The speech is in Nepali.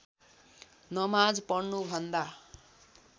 नमाज पढ्नुभन्दा